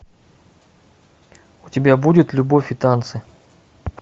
у тебя будет любовь и танцы